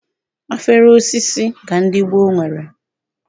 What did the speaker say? Afere osisi ka ndị gboo nwere.